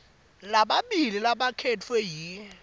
lamabili labakhetfwe yi